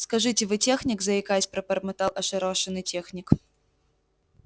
скажите вы техник заикаясь пробормотал ошарашенный техник